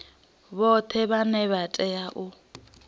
vhoṱhe vhane vha tea u